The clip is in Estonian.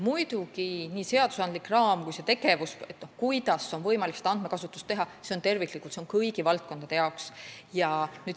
Muidugi, nii seadusandlik raam kui ka see tegevus, mis teeb andmekasutuse võimalikuks, on mõeldud terviklikult, kõigi valdkondade jaoks.